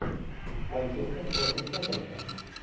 манчестер против тоттенхэм